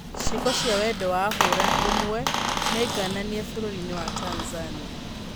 Ciĩko cia wendo wa hũra ũmwe nĩngananie bũrũrinĩ wa Tanzania.